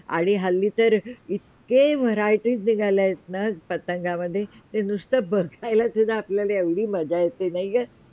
आणि हल्ली तर इतके variety निघाल्या आहेत ना पतंगामधे ते नुसते बघायला सुध्धा आपल्याला एवढी मज्जा येते नाय का